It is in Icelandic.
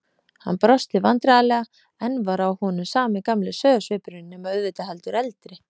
Hann brosti vandræðalega, enn var á honum sami gamli sauðarsvipurinn nema auðvitað heldur eldri.